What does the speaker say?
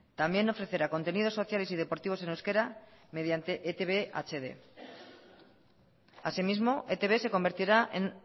también ofrecerá contenidos sociales y deportivos en euskera mediante etb hd asimismo etb se convertirá en